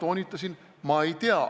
Ma toonitasin, et ma ei tea.